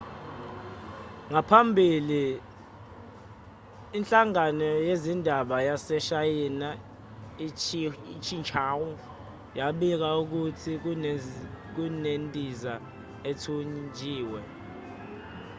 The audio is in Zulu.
ngaphambili inhlangano yezindaba yaseshayina i-xinhua yabika ukuthi kunendiza ethunjiwe